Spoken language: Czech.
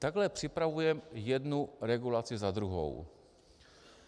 Takhle připravujeme jednu regulaci za druhou.